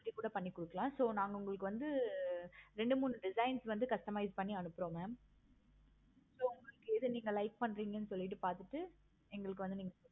அப்படி கூட பண்ணி கொடுக்கலாம். so நாங்க உங்களுக்கு வந்து ரெண்டு மூணு designs வந்து customize பண்ணி அனுப்புறோம். mam so உங்களுக்கு எது நீங்க like பண்றிங்க சொல்லிட்டு பார்த்து எங்களுக்கு வந்து நீங்க